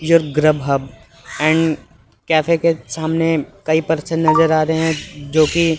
and cafe के सामने कई पर्सन नजर आ रहे हैं जोकि--